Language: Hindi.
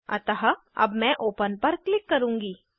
अतः अब मैं ओपन पर क्लिक करुँगी